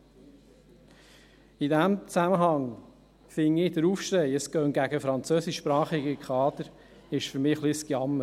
Für mich ist in diesem Zusammenhang der Aufschrei, es gehe gegen französischsprachige Kader, ein wenig ein Gejammer.